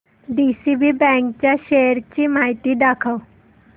DCB bank च्या shares ची माहिती दाखव